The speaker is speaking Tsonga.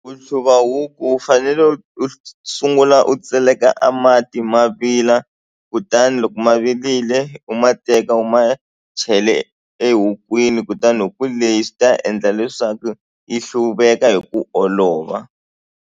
Ku hluva huku u fanele u sungula u tseleka a mati ma vila kutani loko ma virile u ma teka u ma chele ehukwini kutani huku leyi swi ta endla leswaku yi hluveka hi ku olova.